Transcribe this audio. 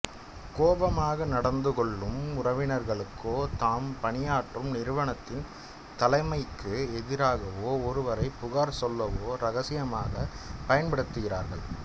கோவமாக நடந்துகொள்ளும் உறவினர்களுக்கோதாம் பணியாற்றும் நிறுவனத்தின் தலைமைக்கு எதிராகவோஒருவரை புகார் சொல்லவோ ரகசியமாக பயன்படுத்துகிறார்கள்